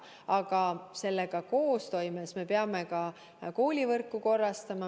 Aga sellega koostoimes me peame ka koolivõrku korrastama.